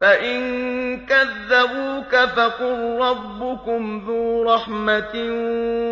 فَإِن كَذَّبُوكَ فَقُل رَّبُّكُمْ ذُو رَحْمَةٍ